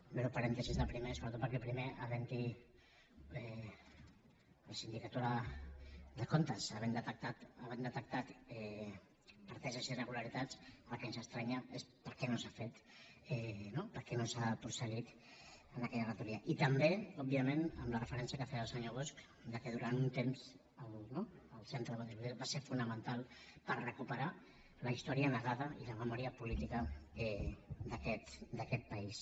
breu parèntesi del primer sobretot perquè el primer la sindicatura de comptes havent hi detectat preteses irregularitats el que ens estranya és per què no s’ha fet no per què no s’ha prosseguit amb aquella auditoria i també òbviament amb la referència que feia el senyor bosch que durant un temps el centre de documentació política va ser fonamental per recuperar la història negada i la memòria política d’aquest país